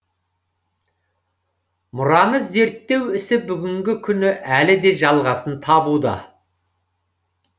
мұраны зерттеу ісі бүгінгі күні әлі де жалғасын табуда